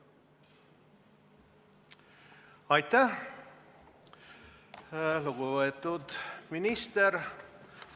Aitäh, lugupeetud minister!